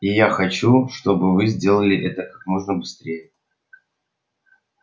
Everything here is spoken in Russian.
и я хочу чтобы вы сделали это как можно быстрее